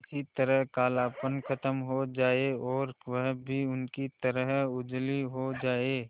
किसी तरह कालापन खत्म हो जाए और वह भी उनकी तरह उजली हो जाय